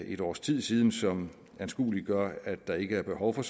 et års tid siden som anskueliggør at der ikke er behov for